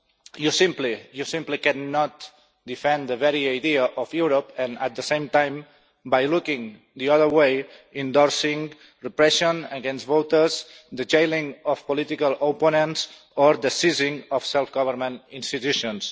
you simply cannot defend the very idea of Europe and, at the same time, by looking the other way, endorse repression against voters, the jailing of political opponents and the seizing of self-government institutions.